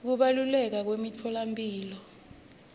kubaluleka kwemitfolamphilo